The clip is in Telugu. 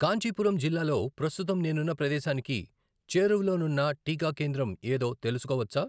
కాంచీపురం జిల్లాలో ప్రస్తుతం నేనున్న ప్రదేశానికి చేరువలోనున్న టీకా కేంద్రం ఏదో తెలుసుకోవచ్చా?